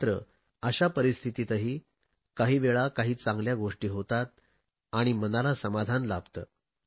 मात्र अशा परिस्थितीतही काही वेळा काही चांगल्या गोष्टी होतात आणि मनाला समाधान लाभते